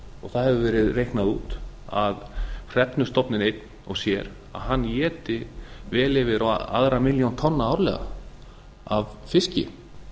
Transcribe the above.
það hefur verið reiknað út að hrefnustofninn einn og sér éti vel yfir á aðra milljón tonna árlega af fiski